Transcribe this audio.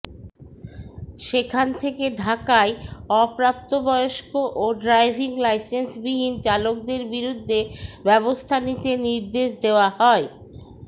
সেখান থেকে ঢাকায় অপ্রাপ্তবয়স্ক ও ড্রাইভিং লাইসেন্সবিহীন চালকদের বিরুদ্ধে ব্যবস্থা নিতে নির্দেশ দেওয়া হয়